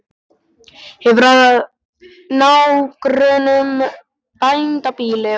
Hefur að nágrönnum bændabýli og akra.